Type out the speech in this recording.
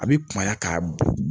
A bɛ kunya ka bɔn